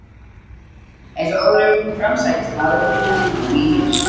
Eins og áður hefur komið fram sækist maðurinn eftir merkingu í lífið.